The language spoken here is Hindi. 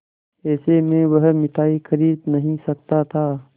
ऐसे में वह मिठाई खरीद नहीं सकता था